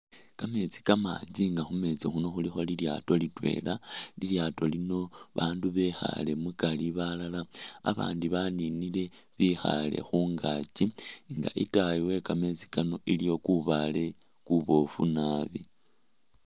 kammetsi kamangi inga khumeetsi khuno khulikho lilyaato litwela, lilyato lino bandu bekhale mugati balala abandi baninile bikhale khungakyi nga itaayi wekameetsi kano iliyo kubaale kubofu naabi.